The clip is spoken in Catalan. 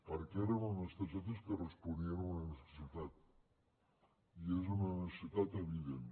perquè eren unes targetes que responien a una necessitat i és una necessitat evident